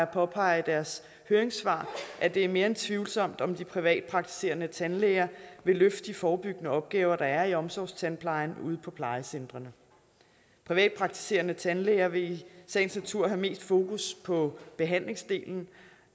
påpeger i deres høringssvar at det er mere end tvivlsomt om de privatpraktiserende tandlæger vil løfte de forebyggende opgaver der er i omsorgstandplejen ude på plejecentrene privatpraktiserende tandlæger vil i sagens natur have mest fokus på behandlingsdelen